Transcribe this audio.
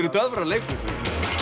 töfrar leikhússins